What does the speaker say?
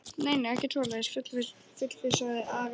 Nei, nei, ekkert svoleiðis fullvissaði Ari hann um.